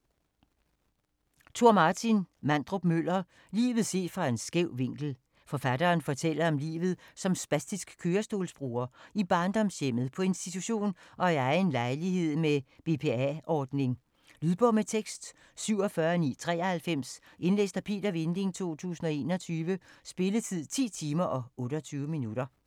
Mandrup-Møller, Tor Martin: Livet set fra en skæv vinkel Forfatteren fortæller om livet som spastisk kørestolsbruger – i barndomshjemmet, på institution og i egen lejlighed med BPA-ordning. Lydbog med tekst 47993 Indlæst af Peter Vinding, 2021. Spilletid: 10 timer, 28 minutter.